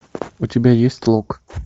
у тебя есть лок